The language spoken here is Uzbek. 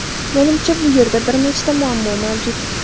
Menimcha bu yerda bir nechta muammo mavjud.